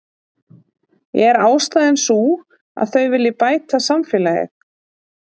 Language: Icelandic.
Er ástæðan sú að þau vilji bæta samfélagið?